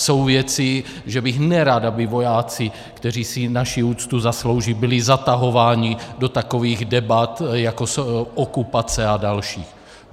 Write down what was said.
Jsou věci, že bych nerad, aby vojáci, kteří si naši úctu zaslouží, byli zatahováni do takových debat jako okupace a další.